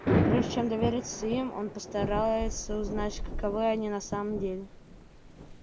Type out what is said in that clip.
и прежде чем довериться им он постарается узнать каковы они на самом деле